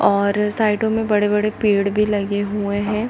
और साइडों मे बहुत बड़े-बड़े पेड़ भी लगे हुए है।